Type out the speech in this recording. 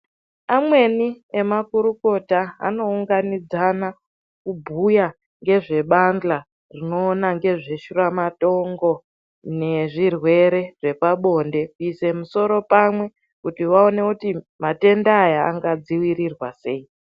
Amweni ema kurukota ano unganidzana kubhuya ngezve badhla rinoona ngezve shura matongo ne zvirwere zvepa bonde kuise musoro pamwe kuti vaone kuti matenda aya anga dzivirirwa sei.